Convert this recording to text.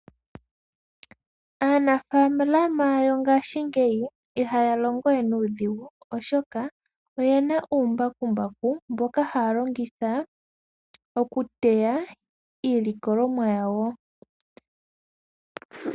Aanafalama yongashi ngeyi ihaya longo we nuudhigu oshoka oyena uumbakumbaku mboka haya longitha okuteya iilikolomwa yawo.